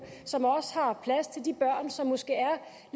som også har plads til de børn som måske